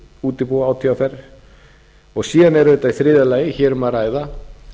útibúa átvr og síðan er auðvitað í þriðja lagi um að ræða